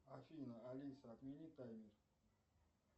афина алиса отмени таймер